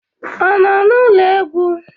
Ọ nọ n'ụlọ egwu?